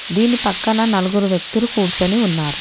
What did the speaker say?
దీని పక్కన నలుగురు వ్యక్తులు కూర్చుని ఉన్నారు.